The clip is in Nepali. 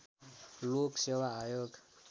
लोक सेवा आयोग